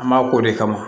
An b'a k'o de kama